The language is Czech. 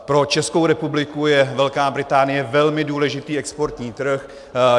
Pro Českou republiku je Velká Británie velmi důležitý exportní trh.